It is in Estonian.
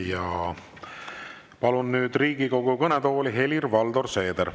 Ja palun nüüd Riigikogu kõnetooli, Helir-Valdor Seeder.